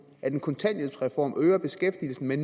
at en kontanthjælpsreform øger beskæftigelsen med